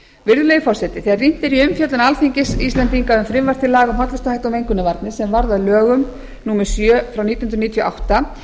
virðulegi forseti þegar rýnt er í umfjöllun alþingis íslendinga um frumvarp til laga um hollustuhætti og mengunarvarnir sem varð að lögum númer sjö nítján hundruð níutíu og átta